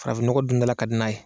Farafin nɔgɔ dundala ka di n'a ye.